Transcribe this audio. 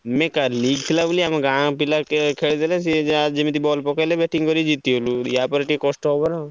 ନାଇଁ କାଲି ଥିଲା ବୋଲି ଆମ ଗାଁ ପିଲା ଟିକେ ଖେଳିଦେଲେ ସିଏ ଯାହା ଯେମିତି ball ପକେଇଦେଲେ batting କରି ଜିତିବେ ବୋଲି ୟାପରେ ଟିକେ କଷ୍ଟ ହବ ନାଁ।